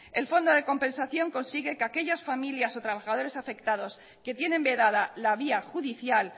el fondo de compensación consigue que aquellas familias o trabajadores afectados que tienen vedada la vía judicial